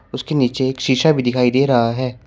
उसके नीचे एक शीशा भी दिखाई दे रहा है।